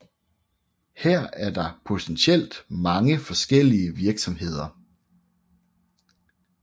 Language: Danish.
Her er der potentielt mange forskellige virksomheder